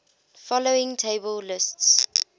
following table lists